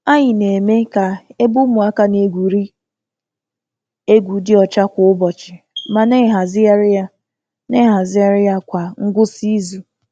Anyị na-eme ka ebe ụmụaka na-egwuri egwu dị ọcha kwa ụbọchị, ma na-ehazigharị ya na-ehazigharị ya kwa ngwụsị izu.